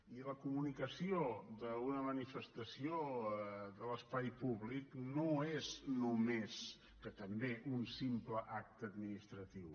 i la comunicació d’una manifestació de l’espai públic no és només que també un simple acte administratiu